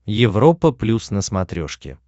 европа плюс на смотрешке